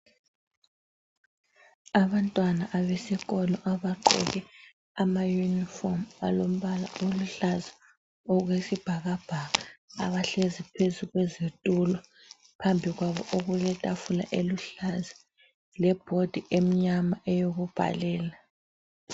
Abantwana abesikolo abagqoke amayunifomu alombala oluhlaza okwesibhakabhaka, phambi kwabo okuletafula eluhlaza lebhodi emnyama eyokubhalela.